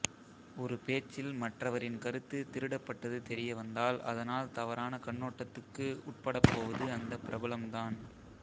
ஒரு பேச்சில் மற்றவரின் கருத்து திருடப்பட்டது தெரியவந்தால் அதனால் தவறான கண்ணோட்டத்துக்கு உட்படப்போவது அந்த பிரபலம் தான்